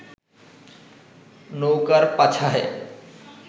নৌকার পাছায়